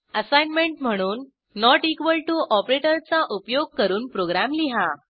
assignment म्हणून not equal to ऑपरेटरचा उपयोग करून प्रोग्रॅम लिहा